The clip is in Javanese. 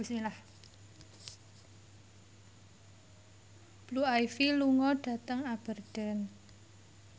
Blue Ivy lunga dhateng Aberdeen